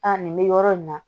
Aa nin bɛ yɔrɔ in na